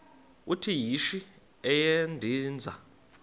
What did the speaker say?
uthi yishi endiza